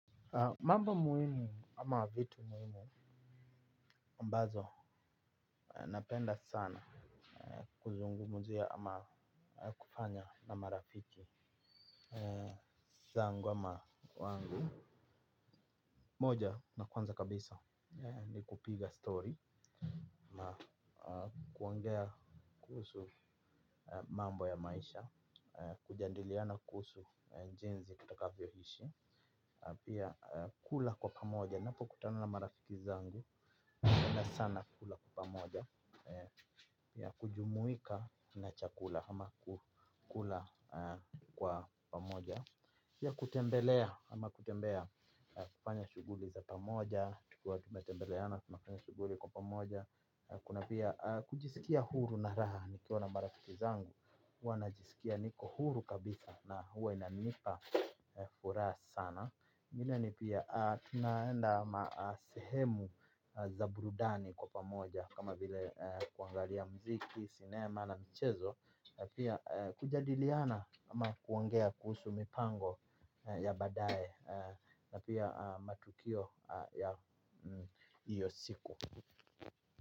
Mambo muhimu ama vitu muhimu ambazo napenda sana kuzungumzia ama kufanya na marafiki zangu ama wangu. Moja na kwanza kabisa ni kupiga story, kuongea kuhusu mambo ya maisha, kujadiliana kuhusu jinsi tutakavyoishi. Pia kula kwa pamoja napokutano na marafiki zangu napenda sana kula kwa pamoja. Pia kujumuika na chakula ama kula kwa pamoja. Pia kutembelea ama kutembea kufanya shughuli za pamoja, tukiwa tumetembeleana tunafanya shughuli kwa pamoja. Kuna pia kujisikia huru na raha nikiona marafiki zangu huwa najisikia niko huru kabisa. Na huwa inanipa furaha sana. Vile ni pia tunaenda masehemu za burudani kwa pamoja kama vile kuangalia muziki, sinema na michezo na pia kujadiliana ama kuongea kuhusu mipango ya baadae. Na pia matukio ya hiyo siku.